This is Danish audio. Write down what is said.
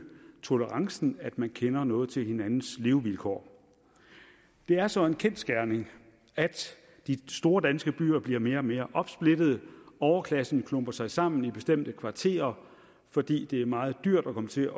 tolerancen at man kender noget til hinandens levevilkår det er så en kendsgerning at de store danske byer bliver mere og mere opsplittede overklassen klumper sig sammen i bestemte kvarterer fordi det er meget dyrt at komme til